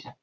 --